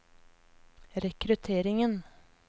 rekrutteringen